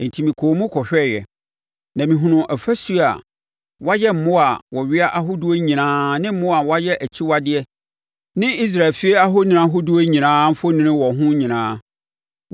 Enti mekɔɔ mu kɔhwɛeɛ, na mehunuu afasuo a wɔayɛ mmoa a wɔwea ahodoɔ nyinaa ne mmoa a wɔyɛ akyiwadeɛ ne Israel fie ahoni ahodoɔ nyinaa mfoni wɔ ho nyinaa.